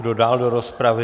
Kdo dál do rozpravy?